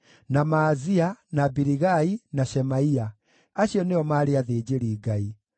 na Maazia, na Biligai, na Shemaia. Acio nĩo maarĩ athĩnjĩri-Ngai.